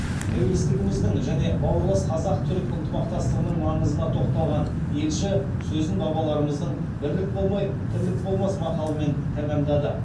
тәуелсіздігіміздің және бауырлас қазақ түрік ынтымақтастығының маңызына тоқталған елші сөзін бабаларымыздың бірлік болмай тірлік болмас мақалымен тәмамдады